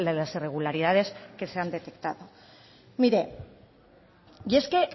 de irregularidades que se han detectado